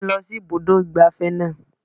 Mú mi lọ sí ibùdó ìgbafẹ́ náà.